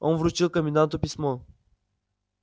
он вручил коменданту письмо